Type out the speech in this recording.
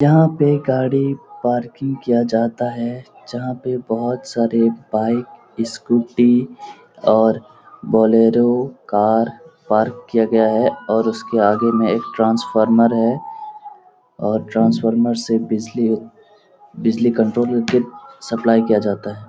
यहाँ पे गाड़ी पार्किंग किया जाता है जहाँ पे बहुत सारे बाइक स्कूटी और बोलेरो कार पार्क किया गया है और उसके आगे में एक ट्रांसफार्मर है और ट्रांसफार्मर से बिजली उत बिजली कंट्रोल हो के सप्लाई किया जाता है।